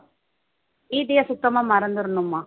வீட்டையே சுத்தமா மறந்திரணும்மா